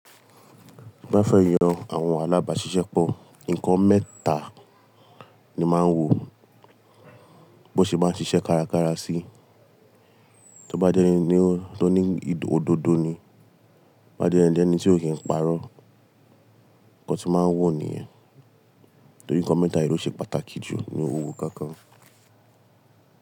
Bí a bá fẹ́ yọ àwọn alábàáṣiṣẹ́pọ̀, ǹkan mẹ́ta ni màá ń wò bó ṣe máa ń ṣiṣẹ́ kárakára sí. Tíló bá jẹ́ ẹni tó ní odòdó ni, tó bá dẹ̀ jẹ́ ẹni tí ó kìí parọ́. Nkan tí màá ń wò nìyẹn. Torí ǹkan mẹ́ta yìí ló ṣe pàtàkì jù ní òwò kankan.